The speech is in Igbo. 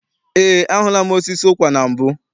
Eé, ahụla m osisi ụkwa na mbụ.